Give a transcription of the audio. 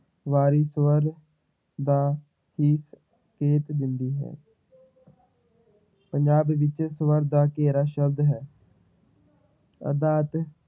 ਵਾਰੀ ਸਵਰ ਦਾ ਹੀ ਦਿੰਦੀ ਹੈ ਪੰਜਾਬੀ ਵਿੱਚ ਸਵਰ ਦਾ ਘੇਰਾ ਸ਼ਬਦ ਹੈ ਅਰਥਾਤ